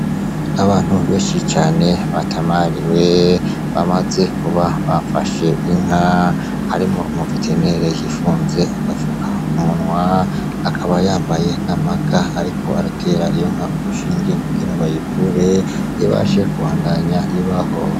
Abantu benshi cane batamariwe bamaze kuba bafashe inka harimwo umu veterinere yifunze agafukamunwa akaba yambaye n'amaga ariko atera inka urushinge kugire bayivure ibashe kubandanya ibaho.